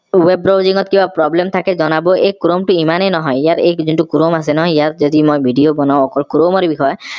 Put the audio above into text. web browsing ত কিবা problem থাকে জনাব এই chrome টো ইমানেই নহয় ইয়াৰ এই যোনটো chrome আছে নহয় ইয়াৰ যদি মই video বনাও অকল chrome বিষয়ে